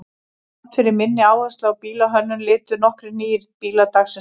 Þrátt fyrir minni áherslu á bílahönnun litu nokkrir nýir bílar dagsins ljós.